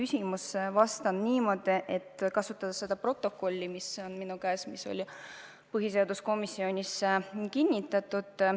Ma vastan niimoodi, kasutades protokolli, mis on minu käes ja mis on põhiseaduskomisjonis kinnitatud.